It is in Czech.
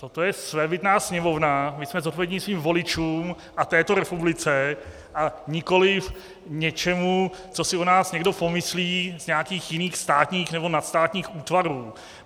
Toto je svébytná Sněmovna, my jsme zodpovědní svým voličům a této republice a nikoliv něčemu, co si o nás někdo pomyslí z nějakých jiných státních nebo nadstátních útvarů.